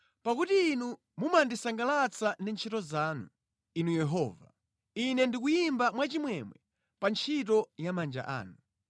Pakuti Inu mumandisangalatsa ndi ntchito zanu, Inu Yehova; Ine ndikuyimba mwachimwemwe pa ntchito ya manja anu.